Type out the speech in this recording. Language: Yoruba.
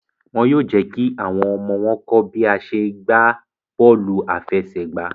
Wón yóò jékí àwọn ọmọ wón kọ bi a ṣe gbà bóòlù afẹsẹgba